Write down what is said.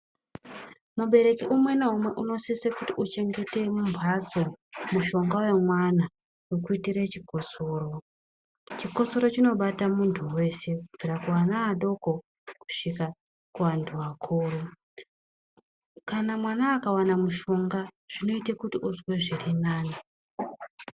Mubereki umwe naumwe unosise kuti uchengete mumbatso mushonga wemwana wekuitire chikosoro. Chikosoro chinobata muntu wese kubvira kuana adoko kusvika kuantu akuru. Kana mwana akawana mushonga zvinoita kuti uzwe zviri nani.